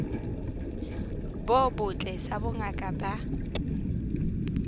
bo botle sa bongaka ba